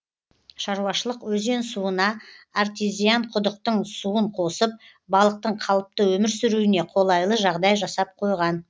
шаруашылық өзен суына артезиан құдықтың суын қосып балықтың қалыпты өмір сүруіне қолайлы жағдай жасап қойған